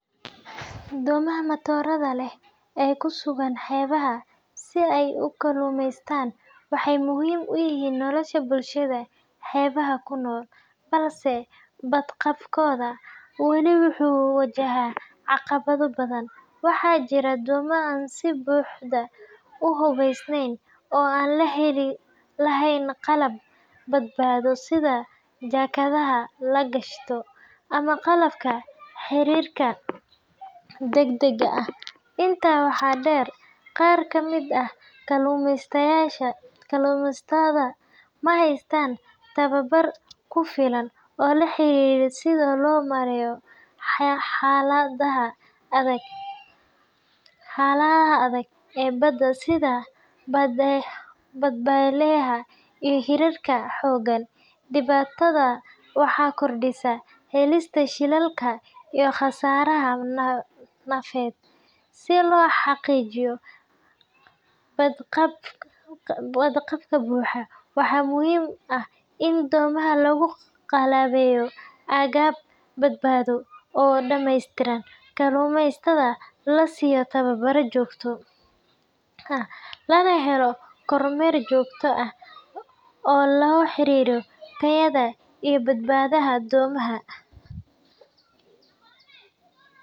Doomaha matorada leh ee ku sugan xeebaha si ay u kalluumaystaan waxay muhiim u yihiin nolosha bulshada xeebaha ku nool, balse badqabkooda wali wuxuu wajahaa caqabado badan. Waxaa jira doomo aan si buuxda u hubaysnayn oo aan lahayn qalab badbaado sida jaakadaha la gashado ama qalabka xiriirka degdegga ah. Intaa waxaa dheer, qaar ka mid ah kalluumaysatada ma haystaan tababar ku filan oo la xiriira sida loo maareeyo xaaladaha adag ee badda sida dabeylaha iyo hirarka xooggan. Dhibaatadan waxay kordhisaa halista shilalka iyo khasaaraha nafeed. Si loo xaqiijiyo badqab buuxa, waxaa muhiim ah in doomaha lagu qalabeeyo agab badbaado oo dhameystiran, kalluumaysatada la siiyo tababar joogto ah, lana helo kormeer joogto ah oo la xiriira tayada iyo badbaadada doomaha.